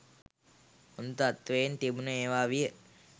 හොඳ තත්ත්වයෙන් තිබුණ ඒවා විය.